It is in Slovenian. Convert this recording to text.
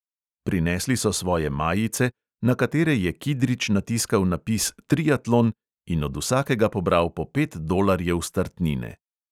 Prinesli so svoje majice, na katere je kidrič natiskal napis triatlon, in od vsakega pobral po pet dolarjev startnine.